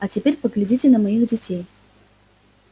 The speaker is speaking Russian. а теперь поглядите на моих детей